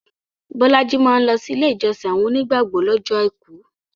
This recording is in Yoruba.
Bolaji maa lọsi ilé ìjọsìn àwọn onígbàgbọ̀ lọ́jọ́ Àìkú